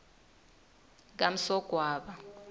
kamsogwaba